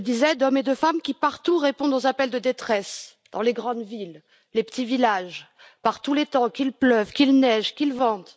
Comme je le disais, d'hommes et de femmes qui, partout, répondent aux appels de détresse, dans les grandes villes, les petits villages, par tous les temps, qu'il pleuve, qu'il neige, qu'il vente.